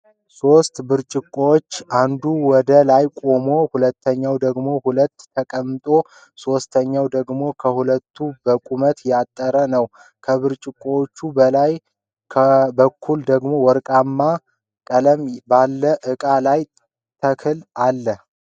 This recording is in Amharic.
ሦሥት ብርጭቆዎች አንዱ ወደ ላይ ቆሞ ሁለተኛው ወደ ጎን ተቀምጦ ሶስተኛው ደግሞ ከሁለቱ በቁመት ያጠረ ነው፤ ከብርጭቆዎቹ በላይ በኩል ደሞ ወርቃማ ቀለም ባለው እቃ ላይ ተክል አለ።